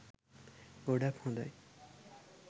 ගොඩක් හොඳයි